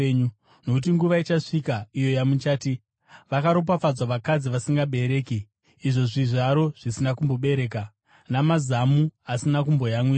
Nokuti nguva ichasvika iyo yamuchati, ‘Vakaropafadzwa vakadzi vasingabereki, izvo zvizvaro zvisina kumbobereka, namazamu asina kumboyamwisa!’